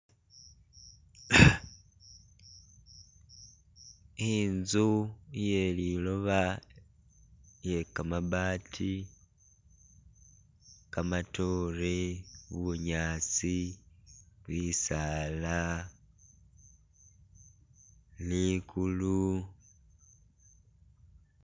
Inzu iye liloba iye kamabaati kamatoore bunyaasi bisaala likulu